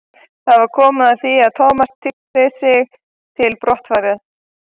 Það var komið að því að Thomas tygjaði sig til brottfarar.